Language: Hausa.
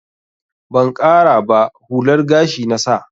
Ban ƙara ba, hular gashi na sa.